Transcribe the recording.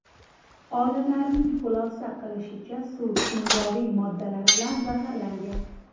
Olimlarning xulosa qilishicha, suv kimyoviy moddalar bilan zaharlangan.